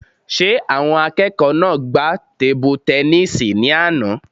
Ṣé àwọn akẹ́kọ̀ọ́ náà gbá tebu-tẹnísì ní àná?